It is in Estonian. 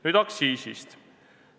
Nüüd aktsiisist.